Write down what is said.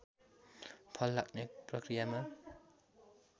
फल लाग्ने प्रकियामा